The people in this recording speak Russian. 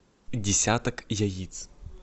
десяток яиц